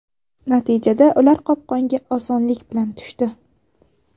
Natijada, ular qopqonga osonlik bilan tushdi.